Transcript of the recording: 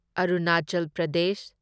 Arunachal Pradesh